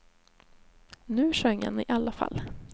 Nu sjöng han i alla fall.